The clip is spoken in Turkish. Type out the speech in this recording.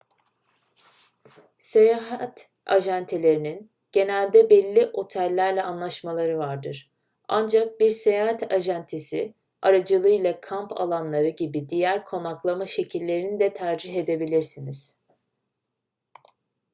seyahat acentelerinin genelde belli otellerle anlaşmaları vardır ancak bir seyahat acentesi aracılığıyla kamp alanları gibi diğer konaklama şekillerini de tercih edebilirsiniz